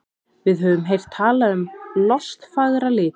Við höfum heyrt talað um lostfagra liti.